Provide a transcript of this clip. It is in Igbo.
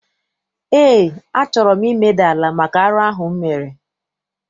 Eé, a chọrọ m imeda ala maka arụ ahụ m mere.